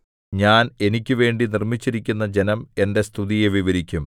ഞാൻ എനിക്കുവേണ്ടി നിർമ്മിച്ചിരിക്കുന്ന ജനം എന്റെ സ്തുതിയെ വിവരിക്കും